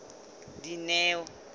dineo